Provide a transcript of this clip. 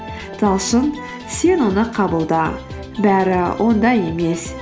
талшын сен оны қабылда бәрі онда емес